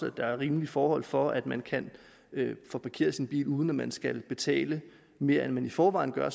at der er rimelige forhold for at man kan få parkeret sin bil uden at man skal betale mere end man i forvejen gør